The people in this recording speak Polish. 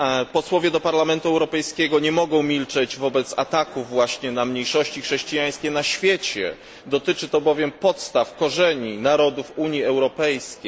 Posłowie do Parlamentu Europejskiego nie mogą milczeć wobec ataków na mniejszości chrześcijańskie na świecie, dotyczy to bowiem podstaw i korzeni narodów Unii Europejskiej.